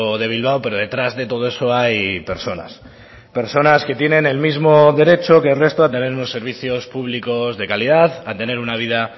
de bilbao pero detrás de todo eso hay personas personas que tienen el mismo derecho que el resto a tener unos servicios públicos de calidad a tener una vida